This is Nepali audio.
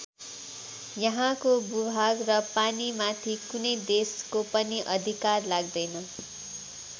यहाँको भूभाग र पानीमाथि कुनै देशको पनि अधिकार लाग्दैन।